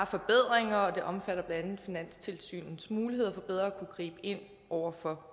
forbedringer og det omfatter blandt andet finanstilsynets muligheder for bedre at kunne gribe ind over for